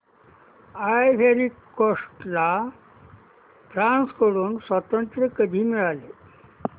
ivory Coast ला France कडून स्वातंत्र्य कधी मिळाले